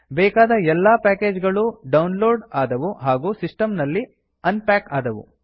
ಬೇಕಾದ ಎಲ್ಲಾ ಪ್ಯಾಕೇಜ್ ಗಳು ಡೌನ್ಲೋಡ್ ಆದವು ಹಾಗು ಸಿಸ್ಟಮ್ ನಲ್ಲಿ ಅನ್ ಪ್ಯಾಕ್ ಆದವು